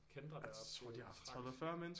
Kæntrer deroppe det er tragisk